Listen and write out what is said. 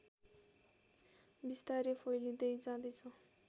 बिस्तारै फैलिँदै जाँदैछ